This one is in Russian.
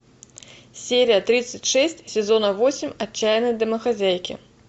серия тридцать шесть сезона восемь отчаянные домохозяйки